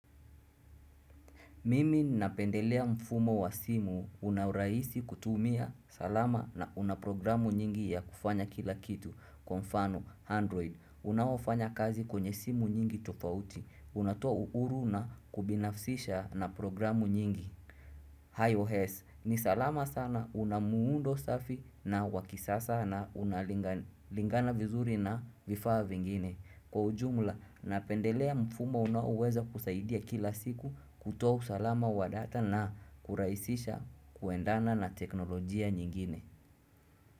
Mimi napendelea mfumo wa simu unaurahisi kutumia salama na unaprogramu nyingi ya kufanya kila kitu, kwa mfano, android, unofanya kazi kwenye simu nyingi tofauti, unatoa uuru na kubinafsisha na programu nyingi. IOS, ni salama sana una muundo safi na wakisasa na unalingana vizuri na vifaa vingine. Kwa ujumla, napendelea mfumo unaoweza kusaidia kila siku kutoa usalama wa data na kurahisisha kuendana na teknolojia nyingine.